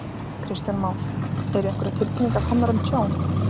Kristján Már: Eru einhverjar tilkynningar komnar um tjón?